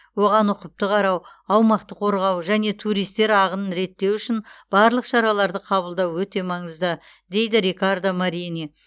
оған ұқыпты қарау аумақты қорғау және туристер ағынын реттеу үшін барлық шараларды қабылдау өте маңызды дейді рикардо марини